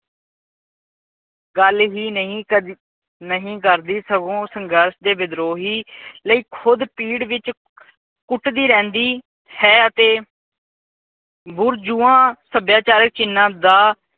ਗੱਲ ਹੀ ਨਹੀਂ ਕਦੀ ਨਹੀਂ ਕਰਦੀ ਸਗੋਂ ਸੰਘਰਸ਼ ਦੇ ਵਿਧਰੋਹੀ ਲਈ ਖੁਦ ਪੀੜ ਵਿੱਚ ਕੁਟਦੀ ਰਹਿੰਦੀ ਹੈ ਅਤੇ ਸਭਿਆਚਾਰਕ ਚੀਨਾ ਦਾ